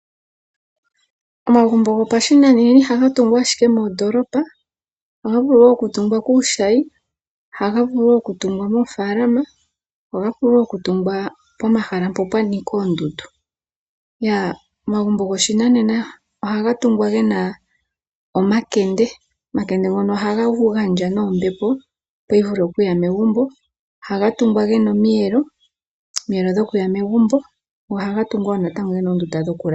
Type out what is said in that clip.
Omagumbo gopashinanena ihaga tungwa owala moondoolopa, ohaga vulu okutungwa kuushayi, ohaga vulu okutungwa moofaalama, ohaga vulu okutungwa pomahala mpoka pwa nika oondundu. Omagumbo goshinanena ohaga tungwa ge na omakende, ngoka haga gandja ombepo, opo yi vule okuya megumbo. Ohaga tungwa ge na omiyelo dhokuya megumbo go ohaga tungwa wo natango ge na oondunda dhokulala.